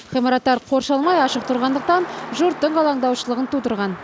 ғимараттар қоршалмай ашық тұрғандықтан жұрттың алаңдаушылығын тудырған